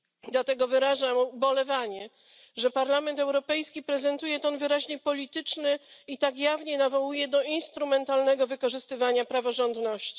Dlatego wyrażam ubolewanie, że Parlament Europejski prezentuje ton wyraźnie polityczny i tak jawnie nawołuje do instrumentalnego wykorzystywania praworządności.